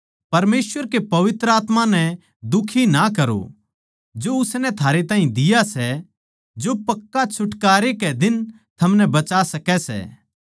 परमेसवर के पवित्र आत्मा नै दुखी ना करो जो उसनै थारे ताहीं दिया सै जो पक्का छुटकारै कै दिन थमनै बचा सकै सै